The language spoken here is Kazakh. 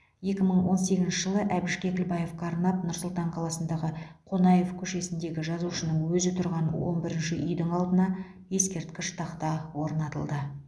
екі мың он сегізінші жылы әбіш кекілбаевқа арнап нұр сұлтан қаласындағы қонаев көшесіндегі жазушының өзі тұрған он бірінші үйдің алдына ескерткіш тақта орнатылды